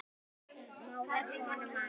móðir konu manns